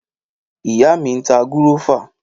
Ìyáà mi ń ta gúrófà.